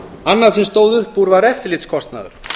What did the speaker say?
annað sem stóð upp úr var eftirlitskostnaður